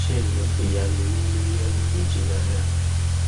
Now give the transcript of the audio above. ṣé ìwọ lè yá mi ní mílíọnù méjì náírà